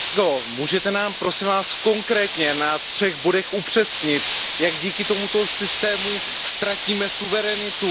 Pane kolego, můžete nám, prosím, konkrétně na třech bodech upřesnit, jak díky tomuto systému ztratíme suverenitu?